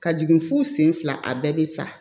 Ka jigin fo sen fila a bɛɛ bi sa